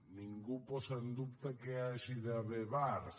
i ningú posa en dubte que hi hagi d’haver bars